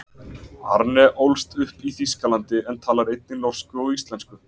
Arne ólst upp í Þýskalandi en talar einnig norsku og íslensku.